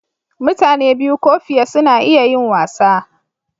Mutane biyu ko fiye suna iya yin wasa.